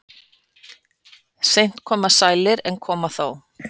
Seint koma sælir en koma þó.